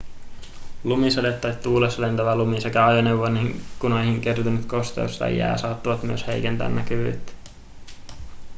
lumisade tai tuulessa lentävä lumi sekä ajoneuvon ikkunoihin kertynyt kosteus tai jää saattavat myös heikentää näkyvyyttä